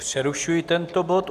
Přerušuji tento bod.